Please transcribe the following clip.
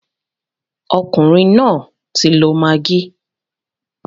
Ọkùnrin náà ń tí lọ maggi.